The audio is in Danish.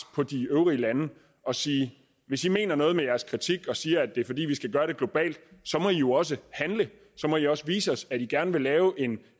på de øvrige lande og sige hvis i mener noget med jeres kritik og siger at det er fordi vi skal gøre det globalt så må i jo også handle så må i også vise os at i gerne vil lave en